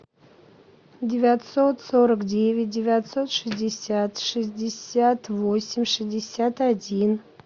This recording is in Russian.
девятьсот сорок девять девятьсот шестьдесят шестьдесят восемь шестьдесят один